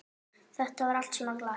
Þetta var allt svo glatað.